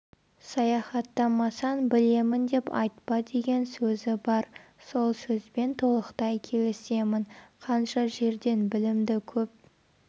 саяхаттамасаң білемін деп айтпа деген сөзі бар сол сөзбен толықтай келісемін қанша жерден білімді көп